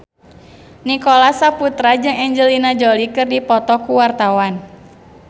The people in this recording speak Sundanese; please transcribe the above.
Nicholas Saputra jeung Angelina Jolie keur dipoto ku wartawan